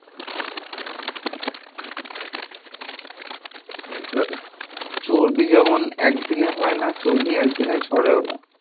আ চর্বি যেমন একদিনে হয় না, চর্বি একদিনে ঝরেও না।